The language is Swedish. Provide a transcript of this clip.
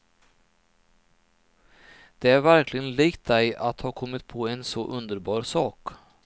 Det är verkligen likt dig att ha kommit på en så underbar sak.